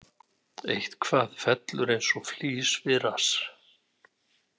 Eitthvað fellur eins og flís við rass